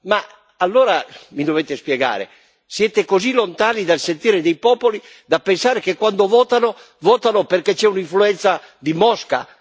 Ma allora mi dovete spiegare siete così lontani dal sentire dei popoli da pensare che quando votano, votano perché c'è un'influenza di Mosca?